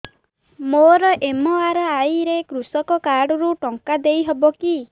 ମୋର ଏମ.ଆର.ଆଇ ରେ କୃଷକ କାର୍ଡ ରୁ ଟଙ୍କା ଦେଇ ହବ କି